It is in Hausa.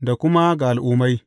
da kuma ga Al’ummai.